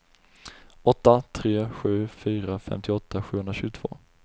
åtta tre sju fyra femtioåtta sjuhundratjugotvå